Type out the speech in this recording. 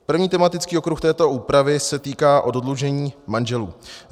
První tematický okruh této úpravy se týká oddlužení manželů.